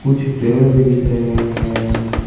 कुछ पेड़ भी दिख रहे हैं।